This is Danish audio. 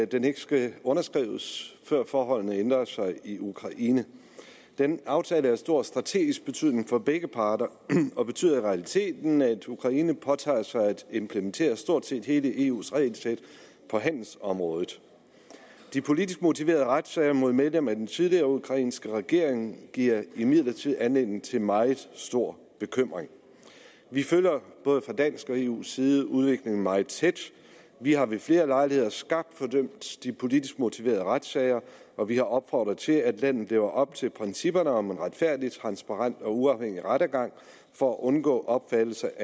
den ikke skal underskrives før forholdene ændrer sig i ukraine den aftale er af stor strategisk betydning for begge parter og betyder i realiteten at ukraine påtager sig at implementere stort set hele eus regelsæt på handelsområdet de politisk motiverede retssager mod medlemmer af den tidligere ukrainske regering giver imidlertid anledning til meget stor bekymring vi følger både fra dansk og eus side udviklingen meget tæt vi har ved flere lejligheder skarpt fordømt de politisk motiverede retssager hvor vi har opfordret til at landet lever op til principperne om en retfærdig transparent og uafhængig rettergang for at undgå opfattelser